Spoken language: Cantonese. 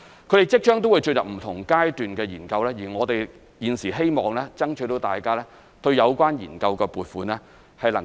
它們即將會進入不同階段的研究，我們現時希望爭取大家支持對有關研究的撥款。